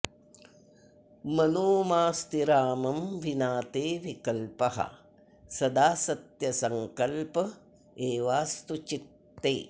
मनो माऽस्तु रामं विना ते विकल्पः सदा सत्यसंकल्प एवाऽस्तु चित्ते